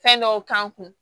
Fɛn dɔw k'an kun